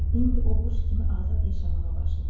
İndi o quş kimi azad yaşamağa başladı.